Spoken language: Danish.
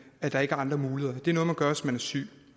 der ikke er andre muligheder det er noget man gør hvis man er syg